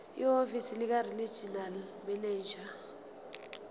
ehhovisi likaregional manager